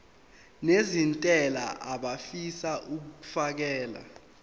nezentela abafisa uukfakela